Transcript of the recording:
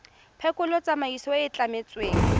phekolo tsamaiso e e tlametsweng